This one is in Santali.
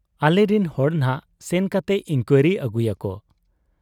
ᱟᱞᱮᱨᱮᱱ ᱦᱚᱲ ᱱᱷᱟᱜ ᱥᱮᱱ ᱠᱟᱛᱮ ᱤᱱᱠᱣᱟᱨᱤ ᱟᱹᱜᱩᱭᱟᱠᱚ ᱾